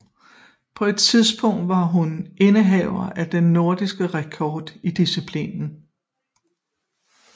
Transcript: På et tidspunkt var hun indehaver af den nordiske rekord i disciplinen